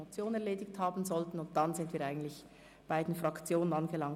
Danach sind wir bei den Fraktionen angelangt.